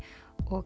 og